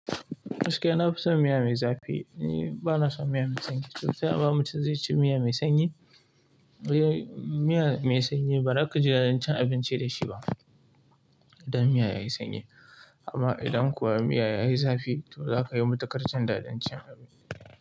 Gaskiya na fi son miya mai zafi, ni bana son miya mai sanyi. To taya ma mutum zai ci miya mai sanyi? Ai miya mai sanyi ba za ka ji daɗin cin abinci da shi ba, idan miya yayi sanyi. Amma idan kuwa miya yayi zafi to zaka yi matuƙar jin daɗin cin abinci.